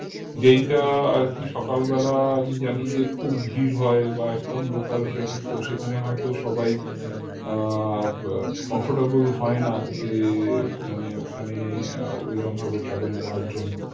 যেইটা আরকি সকাল বেলা আমি জানি যে খুব ভিড় হয় বা একদম local train তো সেখানে হয়তো সবাই আহ comfortable হয়না যে মানে ওখানে আহ ঐরমভাবে travel করার জন্য